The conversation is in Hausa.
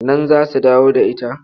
Nan za su dawo da ita.